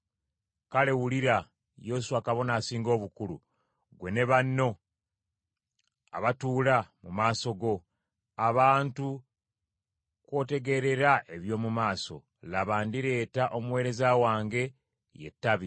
“ ‘Kale wulira, Yoswa kabona asinga obukulu, ggwe ne banno abatuula mu maaso go, abantu kw’otegeerera eby’omu maaso, laba ndireeta omuweereza wange, ye Ttabi.